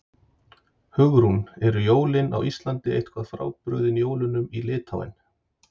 Hugrún: Eru jólin á Íslandi eitthvað frábrugðin jólunum í Litháen?